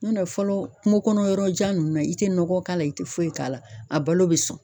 N'o tɛ fɔlɔ kungo kɔnɔ yɔrɔ jan nunnu na i tɛ nɔgɔ k'a la, i tɛ foyi k'a la a balo bɛ sɔn.